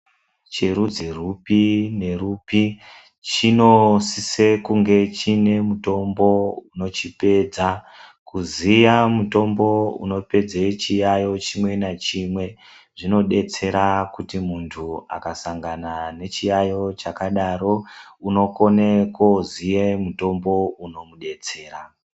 ...cherudzi rwupi nerupi chinosise kunge chine mutombo unochipedza. Kuziya mutombo unopedze chiyayo chimwe nachimwe zvinodetsera kuti muntu akasangana nechiyayo chakadaro unokone koziye mutombo unomudetsera.